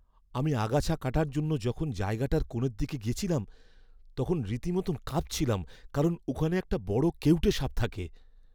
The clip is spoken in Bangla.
আমি আগাছা কাটার জন্য যখন জায়গাটার কোণের দিকে গেছিলাম, তখন রীতিমত কাঁপছিলাম কারণ ওখানে একটা বড় কেউটে সাপ থাকে।